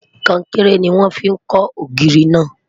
konkere ní wọn fí kò ògiri na